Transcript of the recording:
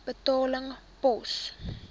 betaling pos